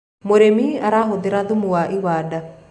mũrĩmi arahuthira thumu wa iwanda